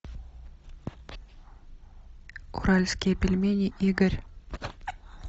уральские пельмени игорь